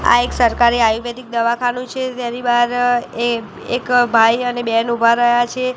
આ એક સરકારી આયુર્વેદિક દવાખાનું છે તેની બાર એ એક ભાઈ અને બેન ઉભા રહ્યા છે.